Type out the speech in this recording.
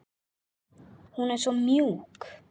Hún er svo mjúk.